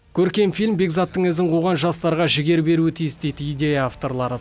көркем фильм бекзаттың ізін қуған жастарға жігер беруі тиіс дейді идея авторлары